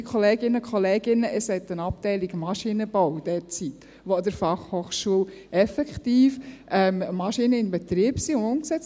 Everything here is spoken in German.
Liebe Kolleginnen und Kollegen, es hat derzeit eine Abteilung Maschinenbau, die für die BFH effektiv Maschinen in Betrieb hat und umsetzt.